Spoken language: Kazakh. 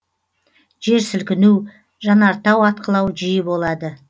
жер сілкіну жанартау атқылау жиі болады